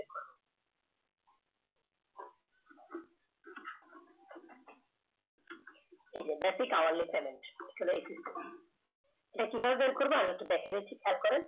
এই যে besiv hourly চলে এসেছে এখানে এটা কিভাবে বার করব এটা আবার একটু দেখায় দিচ্ছি খেয়াল করেন